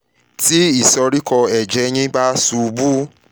tí ìsoríkọ́ ẹ̀jẹ̀ yín bá ṣubú